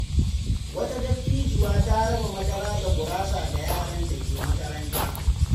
Wata dattijuwa ta raba madara da gurasa ga yaran da ke makaranta.